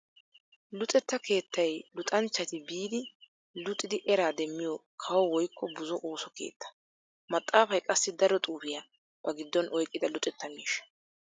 Luxetta keettay luxanchchati biidi luxidi era demmiyo kawo woykko buzo ooso keetta. Maxafay qassi daro xuufiya ba gidon oyqqida luxetta miishsha.